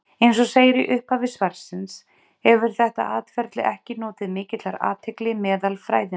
Eins og segir í upphafi svarsins hefur þetta atferli ekki notið mikillar athygli meðal fræðimanna.